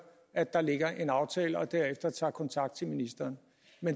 at der lå en aftale og derefter tog kontakt til ministeren